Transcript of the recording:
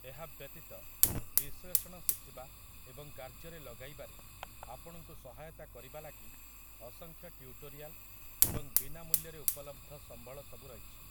ଏହା ବ୍ୟତୀତ, ବିଶ୍ଳେଷଣ ଶିଖିବା ଏବଂ କାର୍ଯ୍ୟରେ ଲଗେଇବାରେ ଆପଣଙ୍କୁ ସହାୟତା କରିବା ଲାଗି ଅସଂଖ୍ୟ ଟ୍ୟୁଟୋରିଆଲ୍‌ ଏବଂ ବିନା ମୂଲ୍ୟରେ ଉପଲବ୍ଧ ସମ୍ବଳ ସବୁ ରହିଛି ।